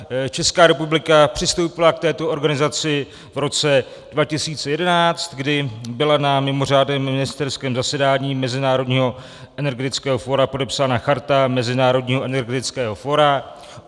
Česká republika přistoupila k této organizaci v roce 2011, kdy byla na mimořádném ministerském zasedání Mezinárodního energetického fóra podepsána Charta Mezinárodního energetického fóra.